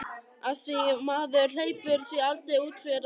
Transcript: Af því maður hleypir því aldrei út fyrir rammann.